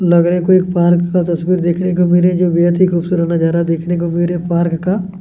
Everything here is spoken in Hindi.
लग रहा है कोई पार्क का तस्वीर देखने को मिले जो बेहत ही खूबसूरत नज़ारा देखने को मिले पार्क का --